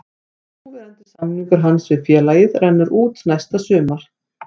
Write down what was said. Núverandi samningur hans við félagið rennur út næsta sumar.